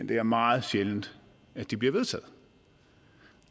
det er meget sjældent at de bliver vedtaget